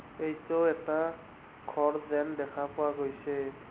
এইটো এটা ঘৰ যেন দেখা পোৱা গৈছে।